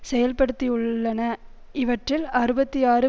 செயல்படுத்தியுள்ளன இவற்றில் அறுபத்தி ஆறு